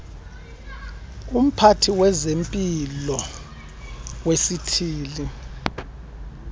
umphathi wezempilo wesithili